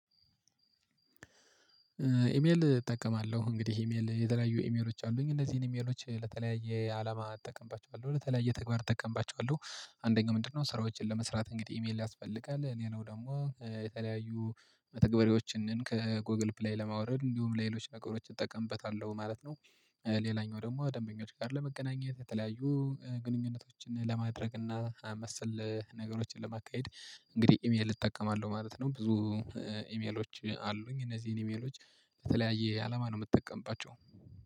ኢሜል እጠቀማለሁ እንግዲህ ኢሜል የተለያዩ ኢሜሎች አሉኝ እነዚህን ኢሜሎች ለተለያየ አላማ እጠቀምባቸዋለሁ ለተለያየ ተግባር እጠቀምባቸዋለሁ። አንደኛው ምንድነው? ስራዎችን ለመስራት እንግዲህ ኢሜል ያስፈልጋል ሌላው ደግሞ የተለያዩ መተግበሪያዎችን ከጎግል ፕላይ ለማውረድ እንዲሁም ለሌሎች ነገሮች እጠቀምበታለሁ ማለት ነው። ሌላኛው ደግሞ ደንበኞች ጋር ለመገናኘት የተለያዩ ግንኙነቶችን ለማድረግ እና መሰል ነገሮችን ለማካሄድ እንግዲህ ኢሜል እጠቀማለሁ ማለት ነው። ብዙ ኢሜሎች አሉኝ እነዚህን ኢሜሎች በተለያየ አለማ ነው የምትጠቀምባቸው